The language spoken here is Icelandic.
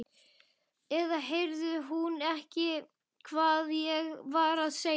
Eða heyrði hún ekki hvað ég var að segja?